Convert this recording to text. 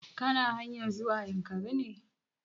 Ka na hanyar zuwa yankari ne?